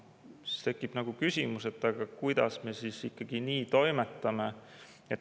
Siis tekib küsimus, et kuidas me ikkagi nii toimetame.